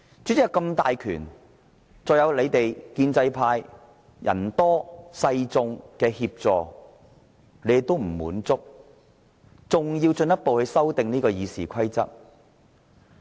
主席有這麼大的權力，再加上建制派人多勢眾的協助，他們也不滿足，還要進一步修訂《議事規則》。